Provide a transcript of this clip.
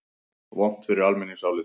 Vont fyrir almenningsálitið?